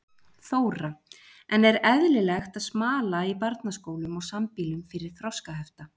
Þóra: En er eðlilegt að smala í barnaskólum og sambýlum fyrir þroskahefta?